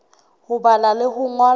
ho bala le ho ngola